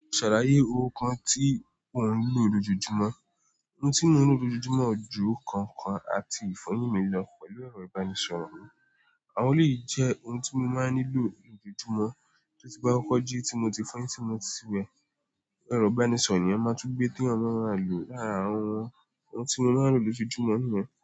Ṣàlàyé ohun kan tí ò ń lò lójoojúmọ́. Ohun tí mo ń lò lójoojúmọ́ ju kankan àti ìfọyín mi lọ pẹ̀lú ẹ̀rọ ìbánisọ̀rọ̀ mi. Àwọn òní jẹ́ ohun tí mo máa ń lò lójoojúmọ́ títí bá kọ́ jí tí mo ti fọn tí mo ti wẹ̀. Ẹ̀rọ ìbánisọ̀rọ̀ ni ọmọ túngbẹ́ tí ọmọ rẹ̀ ń lò láàárin àwọn ohun tí mo máa ń lò lójoojúmọ́ niyen.